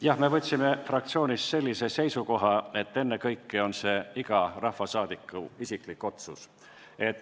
Jah, me võtsime fraktsioonis sellise seisukoha, et ennekõike on see iga rahvasaadiku isiklik otsus.